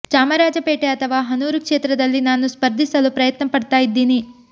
ಚಾಮರಾಜಪೇಟೆ ಅಥವಾ ಹನೂರು ಕ್ಷೇತ್ರದಲ್ಲಿ ನಾನು ಸ್ಪರ್ಧಿಸಲು ಪ್ರಯತ್ನ ಪಡ್ತಾ ಇದ್ದೀನಿ